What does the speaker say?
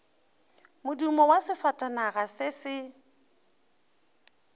modumo wa sefatanaga se se